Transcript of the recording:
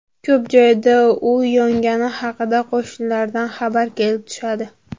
Ko‘p joyda uy yongani haqida qo‘shnilardan xabar kelib tushadi.